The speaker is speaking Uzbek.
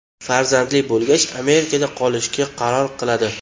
Farzandli bo‘lgach Amerikada qolishga qaror qiladi.